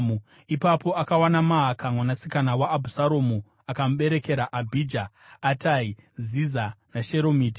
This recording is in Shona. Ipapo akawana Maaka mwanasikana waAbhusaromu akamuberekera Abhija, Atai, Ziza naSheromiti.